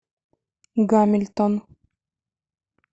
гамильтон